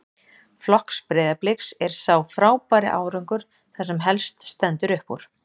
Flokks Breiðabliks er sá frábæri árangur það sem helst stendur upp úr.